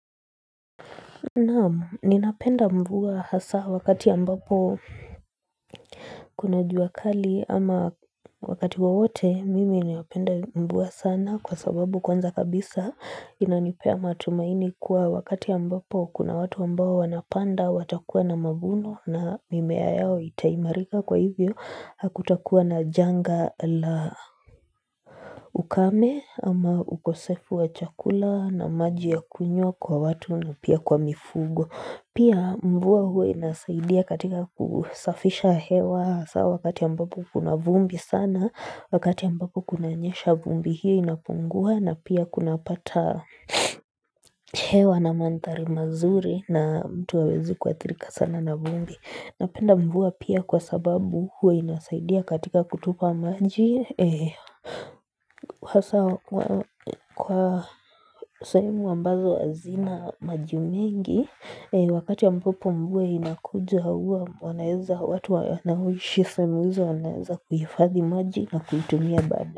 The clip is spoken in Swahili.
Naam, ninapenda mvua ya hasa wakati ya ambapo kuna jua kali ama wakati wowote mimi napenda mvua sana kwa sababu kwanza kabisa inanipea matumaini kuwa wakati ya ambapo kuna watu ambao wanapanda watakuwa na mavuno na mimea yao itaimarika kwa hivyo hakutakuwa na janga la ukame ama ukosefu wa chakula na maji ya kunywa kwa watu na pia kwa mifugo. Pia mvua huwa inasaidia katika kusafisha hewa sawa wakati ambapo kuna vumbi sana, wakati ambapo kunanyesha vumbi hiyo inapungua na pia kuna pata hewa na madhari mazuri na mtu hawezi kuathirika sana na vumbi. Napenda mvua pia kwa sababu huwa inasaidia katika kutupa maji Sasa kwa sehemu ambazo hazina maji mengi wakati ambapo mvua vinakuja hauwa wanaeza watu wanaoishi sehemu hizo wanaweza kuhifadhi maji na kuitumia bada.